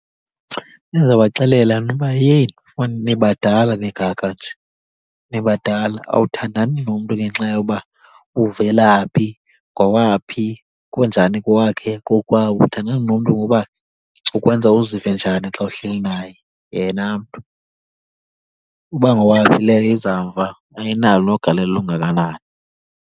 Bendizabaxelela mna uba yeyi nibadala ningaka nje, nibadala. Awuthandani nomntu ngenxa yoba uvela phi, ngowaphi, kunjani kowakhe, kokwabo. Uthandana nomntu ngoba ukwenza uzive njani xa uhleli naye yena mntu. Uba ngowaphi leyo iza mva, ayinalo nogalelo olungakanani.